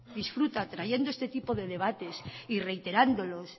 disfruta trayendo este tipo de debates y reiterándolos